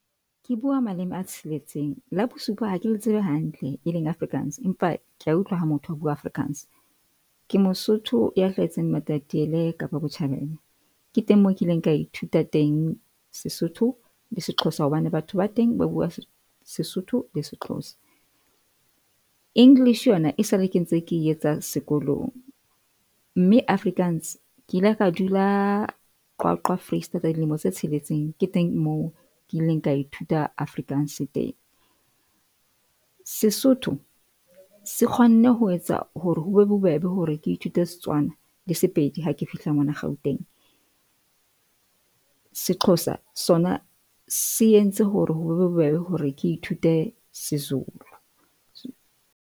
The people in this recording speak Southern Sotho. Ke bua maleme a tsheletseng la bosupa ha ke le tsebe hantle e leng Afrikaans, empa ke a utlwa ha motho a bua Afrikaans. Ke Mosotho ya hlahetseng Matatiele Kapa Botjhabela. Ke teng mo kileng ka ithuta teng Sesotho le se Xhosa, hobane batho ba teng ba bua Sesotho le se Xhosa. English yona e sale ke ntse ke e etsa sekolong mme Afrikaans ke ile ka dula Qwaqwa Foreisetata dilemo tse tsheletseng ke teng moo ke ileng ka ithuta Afrikaans teng. Sesotho se kgonne ho etsa hore ho be bobebe hore ke ithute Setswana le Sepedi ha ke fihla mona Gauteng. Se Xhosa sona se entse hore ho be bobebe hore ke ithute se Zulu.